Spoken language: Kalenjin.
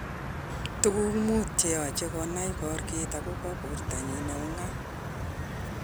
Tukuk muut che yoche konai korket akobo bortanyin nebo wungat